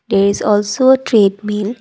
it is also a treadmill.